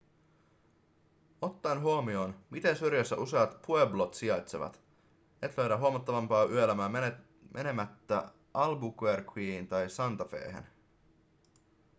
ottaen huomioon miten syrjässä useat pueblot sijaitsevat et löydä huomattavampaa yöelämää menemättä albuquerqueen tai santa fehen